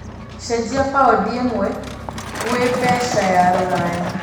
cenjĩa paũndi ĩmwe gwĩ mbeca cia rũraya